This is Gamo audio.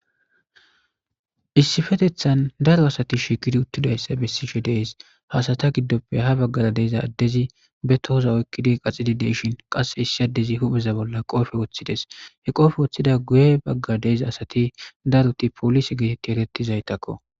Issifetethan daro asati shikidi uttidayssa bessishe dees hasata giddoppe ha baggara deeza addezi be tohoza oykkidi qaxidi deshin qasse issi addezi hupheza bolla he qoofe woththides he qoofe woththida guye bagga deeza asati daroti poolise geetetti erettizaytakko.